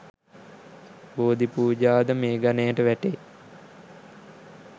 බෝධිපූජා ද මේ ගණයට වැටේ.